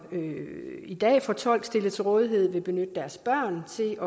i dag får tolk stillet til rådighed vil benytte deres børn til